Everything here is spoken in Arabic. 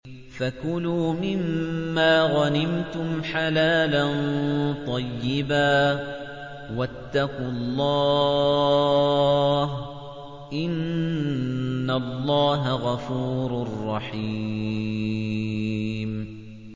فَكُلُوا مِمَّا غَنِمْتُمْ حَلَالًا طَيِّبًا ۚ وَاتَّقُوا اللَّهَ ۚ إِنَّ اللَّهَ غَفُورٌ رَّحِيمٌ